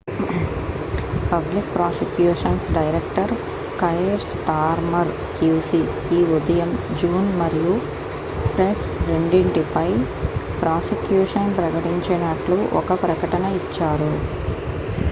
public prosecutions director Keir Starmer qc ఈ ఉదయం Huhne మరియు ప్రైస్ రెండింటిపై ప్రాసిక్యూషన్ ప్రకటించినట్లు ఒక ప్రకటన ఇచ్చారు